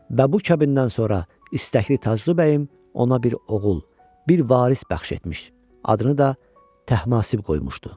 Və bu kəbindən sonra istəkli Taclı bəyim ona bir oğul, bir varis bəxş etmiş, adını da Təhmasib qoymuşdu.